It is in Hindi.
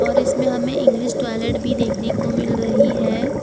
और इसमें हमें इंग्लिश टॉयलेट भी देखने को मिल रही है।